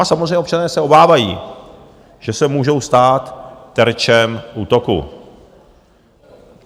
A samozřejmě občané se obávají, že se můžou stát terčem útoku.